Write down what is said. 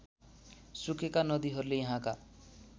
सुकेका नदीहरूले यहाँका